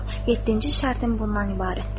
Yeddinci şərtim bundan ibarətdir: